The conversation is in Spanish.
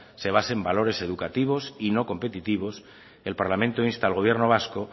se base en valores educativos y no competitivos el parlamento insta al gobierno vasco